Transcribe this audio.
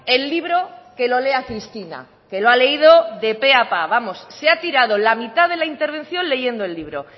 el libro que lo lea cristina que lo ha leído de pe a pa vamos se ha tirado la mitad de la intervención leyendo el libro